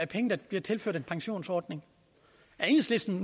penge der bliver tilført en pensionsordning er enhedslisten